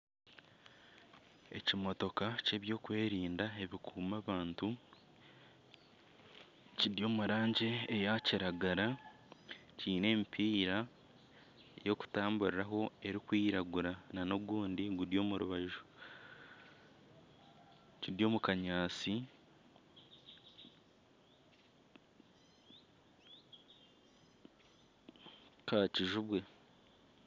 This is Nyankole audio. Ekimotoka ky'ebyokwerinda ebi kukuuma abantu kiri omu rangi eya kiragara, kiine emipiira y'okutamburira ho erikwiragura nana ogundi guri omu rubaju. Kiri omu kanyaatsi ka kijubwe.